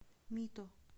мито